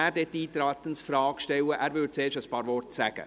Er sagt zuerst ein paar Worte.